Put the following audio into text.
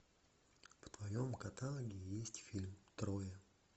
в твоем каталоге есть фильм троя